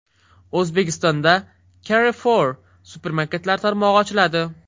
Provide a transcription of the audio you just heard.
O‘zbekistonda Carrefour supermarketlar tarmog‘i ochiladi.